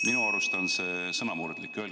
Minu arust on sõnamurdlik.